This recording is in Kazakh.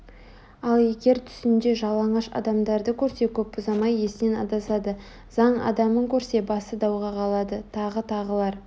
ал егер түсінде жалаңаш адамдарды көрсе көп ұзамай есінен адасады заң адамын көрсе басы дауға қалады тағы тағылар